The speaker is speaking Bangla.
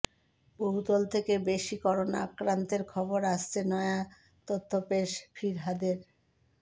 বহুতল থেকে বেশী করোনা আক্রান্তের খবর আসছে নয়া তথ্য পেশ ফিরহাদের